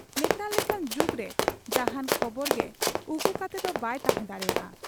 ᱱᱮᱛᱟᱨ ᱞᱮᱠᱟᱱ ᱡᱩᱜᱽᱨᱮ ᱡᱟᱦᱟᱸᱱ ᱠᱷᱚᱵᱚᱨ ᱜᱮ ᱩᱠᱩ ᱠᱟᱛᱮᱫᱚ ᱵᱟᱭ ᱛᱟᱦᱮᱸ ᱫᱟᱲᱮᱭᱟᱜ ᱟ ᱾